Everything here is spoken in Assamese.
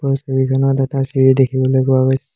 ওপৰৰ ছবিখনত এটা চিৰি দেখিবলৈ পোৱা গৈছে।